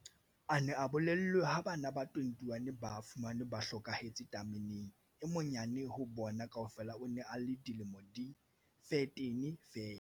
A ne a bolellwe ha bana ba 21 ba fumanwe ba hlokahetse tameneng. E monyane ho bona kaofela o ne a le dilemo di 13 feela.